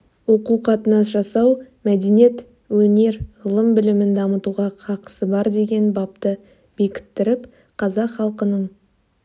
оқу қатынас жасау мәдениет өнер ғылым білімін дамытуға хақысы бар деген бапты бекіттіріп қазақ халқының